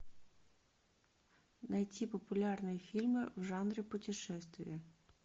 найти популярные фильмы в жанре путешествия